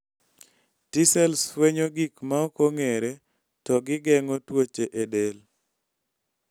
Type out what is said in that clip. t cells fwenyo gik maokong'ere to gi geng'o tuoche e del